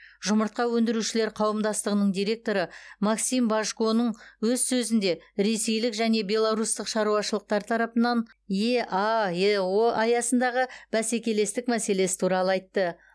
жұмыртқа өндірушілер қауымдастығының директоры максим божконың өз сөзінде ресейлік және беларустық шаруашылықтар тарапынан еаэо аясындағы бәсекелестік мәселесі туралы айтты